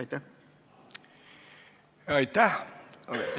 Aitäh!